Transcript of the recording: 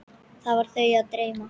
Var þau að dreyma?